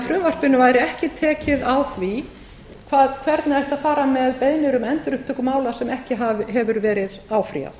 frumvarpinu væri ekki tekið á því hvernig ætti að fara með beiðnir um endurupptöku mála sem ekki hefur verið áfrýjað